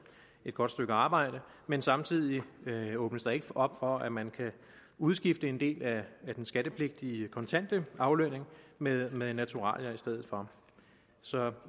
et godt stykke arbejde men samtidig åbnes der ikke op for at man kan udskifte en del af den skattepligtige kontante aflønning med med naturalier i stedet for så